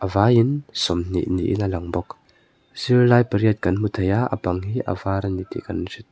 vaiin sawmhnih niin a lang bawk zirlai pariat kan hmu thei a a bang hi a var a ni tih kan--